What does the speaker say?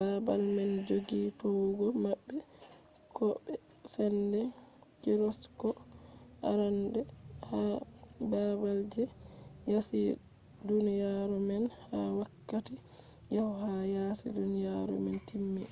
baabal man joggi towugo maɓɓe ko be sende gyroskop arande ha baabal je yaasi duniyaru man ha wakkati yahdu ha yasi duniyaru man timmi